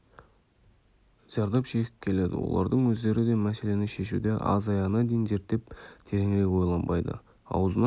зардап шегіп келеді олардың өздері де мәселені шешуде аз аяғына дейін зерттеп тереңірек ойланбайды аузынан